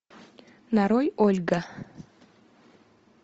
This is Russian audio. нарой ольга